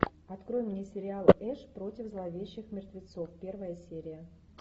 открой мне сериал эш против зловещих мертвецов первая серия